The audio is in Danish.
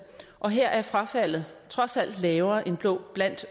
og her er frafaldet trods alt lavere end blandt